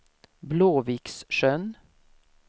Blåviksjön